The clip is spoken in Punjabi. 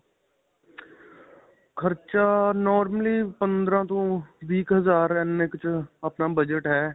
ਖਰਚਾ ਅਅ normally ਪੰਦਰਾਂ ਤੋਂ ਵੀਹ ਕ ਹਜ਼ਾਰ ਇੰਨੇ ਕੁ ਚ ਆਪਣਾ ਬਜਟ ਹੈ.